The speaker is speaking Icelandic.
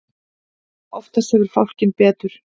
Oftast hefur fálkinn betur.